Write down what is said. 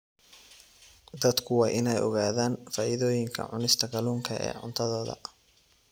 Dadku waa inay ogaadaan faa'iidooyinka cunista kalluunka ee cuntadooda.